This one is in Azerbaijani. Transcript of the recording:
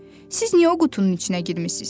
Siz niyə o qutunun içinə girmisiz?